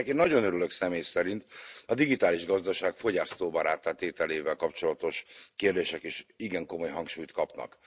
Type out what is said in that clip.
És aminek én nagyon örülök személy szerint a digitális gazdaság fogyasztóbaráttá tételével kapcsolatos kérdések is igen komoly hangsúlyt kapnak.